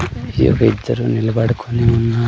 ఒక ఇద్దరు నిబడుకోని ఉన్నా--